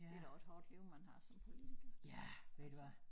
Det da også et hårdt liv man har som politiker altså